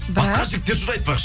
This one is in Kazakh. бірақ басқа жігіттер жүр айтпақшы